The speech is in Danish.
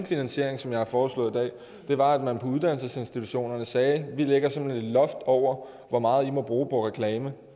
finansiering som jeg har foreslået i dag det var at man til uddannelsesinstitutionerne sagde vi lægger simpelt hen et loft over hvor meget i må bruge på reklame